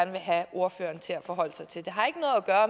vil have ordføreren til at forholde sig til det har ikke